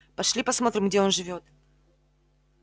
пошли посмотрим где он живёт